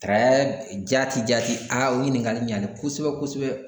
jati jati . Aa o ɲininkali ɲɛna kosɛbɛ kosɛbɛ.